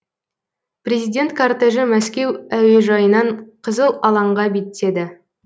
президент кортежі мәскеу әуежайынан қызыл алаңға беттеді